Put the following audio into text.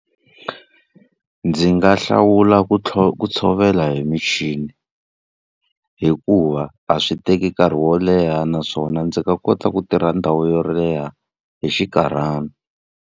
Ndzi nga hlawula ku ku tshovela hi michini, hikuva a swi teki nkarhi wo leha naswona ndzi nga kota ku tirha ndhawu yo leha hi xinkarhana.